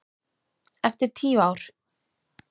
Eftir tíu ár.